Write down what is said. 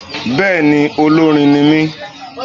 Béèni olórin ni mí